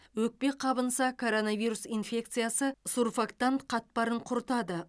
өкпе қабынса коронавирус инфекциясы сурфактант қатпарын құртады